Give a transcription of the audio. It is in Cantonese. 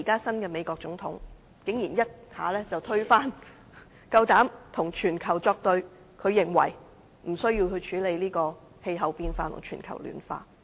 新任美國總統是例外，他竟然一下子推翻此事，敢膽與全球作對，認為無需處理氣候變化及全球暖化。